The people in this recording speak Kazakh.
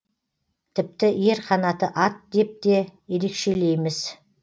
тіпті ер қанаты ат деп те ерекшелейміз